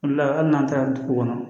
O le la hali n'an taara dugu kɔnɔ